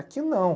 Aqui não.